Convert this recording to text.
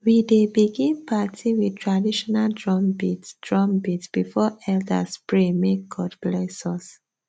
we dey begin party with traditional drumbeat drumbeat before elders pray make god bless us